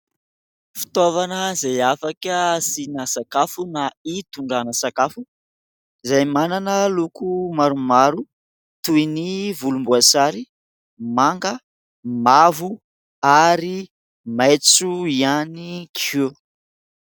Fitaovana izay afaka asiana sakafo na hitondrana sakafo izay manana loko maromaro toy ny volomboasary, manga, mavo ary maitso ihany koa.